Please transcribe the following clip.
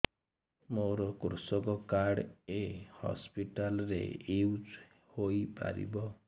ମୋର କୃଷକ କାର୍ଡ ଏ ହସପିଟାଲ ରେ ୟୁଜ଼ ହୋଇପାରିବ